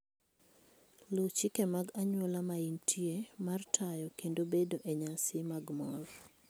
Luw chike mag anyuola ma intie mar tayo kendo bedo e nyasi mag mor.